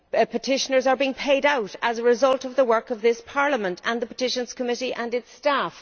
Petitioners are being paid out to as a result of the work of this Parliament and the Petitions Committee and its staff.